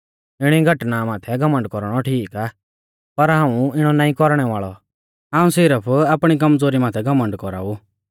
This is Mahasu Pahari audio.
इणी घटना माथै घमण्ड कौरणौ ठीक आ पर हाऊं इणौ नाईं कौरणै वाल़ौ हाऊं सिरफ आपणी कमज़ोरी माथै घमण्ड कौराऊ